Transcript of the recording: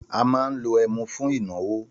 Àmà ńlò ẹmú fún ìnàwó.